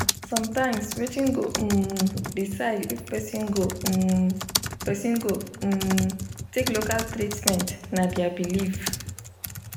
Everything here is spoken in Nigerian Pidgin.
sometimes wetin go um decide if person go um person go um take local treatment na their belief.